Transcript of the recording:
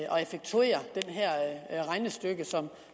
og effektuere det her regnestykke som